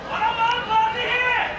Qarabağın fatehi!